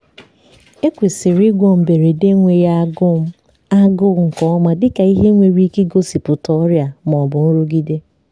ekwesịrị ịgwọ mberede enweghi agụm agụụ nke ọma dịka ihe nwere ike igosipụta ọrịa ma ọ bụ nrụgide.